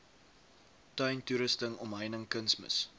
tuintoerusting omheining kunsmis